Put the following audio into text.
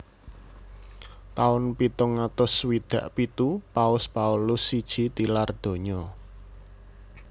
Taun pitung atus swidak pitu Paus Paulus siji tilar donya